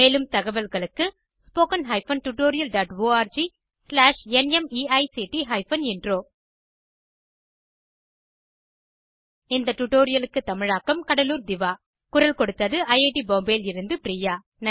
மேலும் தகவல்களுக்கு httpspoken tutorialorgNMEICT Intro இந்த டுடோரியலுக்கு தமிழாக்கம் கடலூர் திவா குரல் கொடுத்தது ஐஐடி பாம்பேவில் இருந்து பிரியா